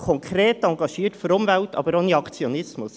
Wir sind konkret engagiert für die Umwelt, aber ohne Aktionismus.